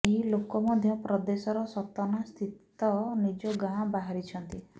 ଏହି ଲୋକ ମଧ୍ୟ ପ୍ରଦେଶର ସତନା ସ୍ଥିତ ନିଜ ଗାଁ ବାହାରିଛନ୍ତି